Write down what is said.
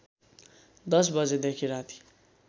१० बजेदेखि राति